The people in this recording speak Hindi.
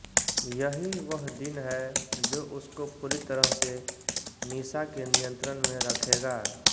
यही वह दिन है जो उसको पूरी तरह से निशा के नियंत्रण में रखेगा